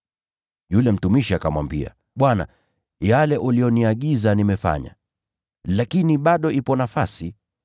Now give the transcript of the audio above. “Yule mtumishi akamwambia, ‘Bwana, yale uliyoniagiza nimefanya, lakini bado ipo nafasi.’